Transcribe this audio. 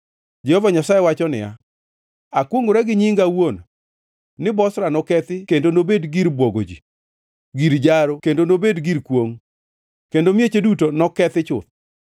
Jehova Nyasaye wacho niya, “Akwongʼora gi nyinga awuon, ni Bozra nokethi kendo nobed gir bwogo ji, gir jaro kendo nobed gir kwongʼ, kendo mieche duto nokethi chuth.”